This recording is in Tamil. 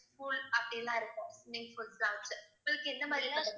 pool அப்படில்லாம் இருக்கும் swimming pools லாம் வச்சு உங்களுக்கு எந்த மாதிரிப்பட்ட